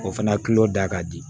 O fana da ka di